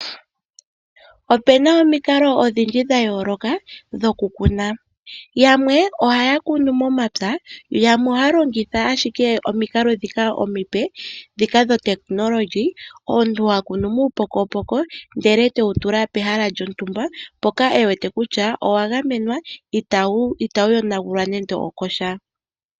Opena omikalo odhindji dha yooloka dhokukuna, yamwe ohaya kunu momapya yamwe ohaa longitha ashike omikalo dhika omipe dhika dhopaungomba, omuntu hakunu muupokopoko ndele tewu tula pehala lyotumba mpoka ewete kutya owa gamenwa itawu yonagulwa nando okosha,